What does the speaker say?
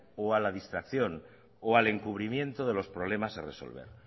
o a la distracción o al encubrimiento de los problemas a resolver